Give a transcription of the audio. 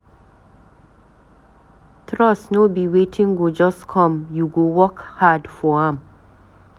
Trust no be wetin go just come, you go work hard for am.